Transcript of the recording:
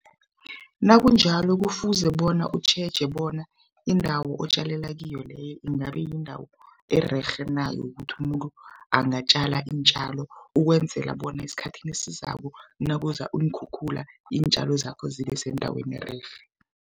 Nakunjalo kufuze bona utjheje bona indawo otjalela kiyo leyo ingabe yindawo ererhe na yokuthi umuntu angatjala iintjalo ukwenzela bona esikhathini esizako nakuza iinkhukhula iintjalo zakho zibe sendaweni ererhe.